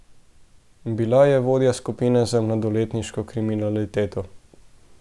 Bila je vodja skupine za mladoletniško kriminaliteto.